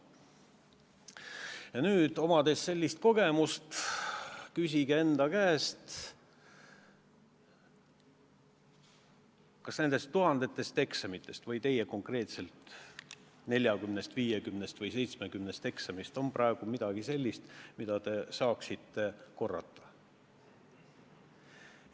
Ja nüüd, omades sellist kogemust, küsige enda käest, kas nendes tuhandetes eksamites või konkreetselt teie 40, 50 või 70 eksamis on midagi sellist, mida te saaksite praegu korrata.